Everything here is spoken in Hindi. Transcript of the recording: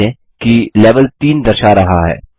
ध्यान दें कि लेवेल 3 दर्शा रहा है